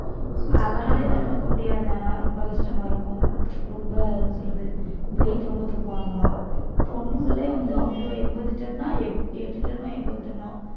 அவராலயும் வேலை பார்க்க முடியாது ஆனால் ரொம்ப கஷ்டமா இருக்கும் ரொம்ப என்ன சொல்றது weight ரொம்ப தூக்குவாங்கலாம் பொண்ணுங்களே வந்து அவ்வளவு எண்பது ton னா எட்டு ton ஓ எண்பது ton ஓ